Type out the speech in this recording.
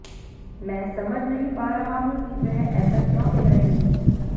मैं समझ नहीं पा रहा हूं कि वह ऐसा क्यों कह रहे हैं